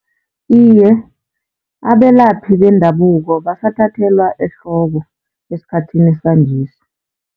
Iye, abelaphi bendabuko basathathelwa ehloko esikhathini sanjesi.